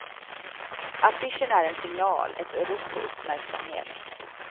Affischen är en signal, ett rop på uppmärksamhet.